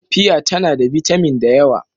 Fiya tana da bitamin da yawa.